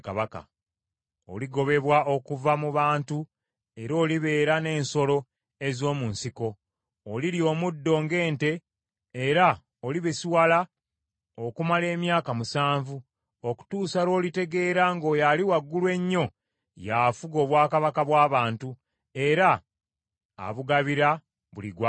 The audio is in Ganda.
Oligobebwa okuva mu bantu era olibeera n’ensolo ez’omu nsiko; olirya omuddo ng’ente, era olibisiwala okumala emyaka musanvu okutuusa lw’olitegeera ng’Oyo Ali Waggulu Ennyo y’afuga obwakabaka bw’abantu, era abugabira buli gw’asiima.